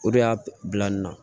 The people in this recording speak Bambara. O de y'a bila n na